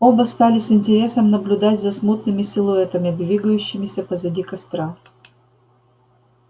оба стали с интересом наблюдать за смутными силуэтами двигающимися позади костра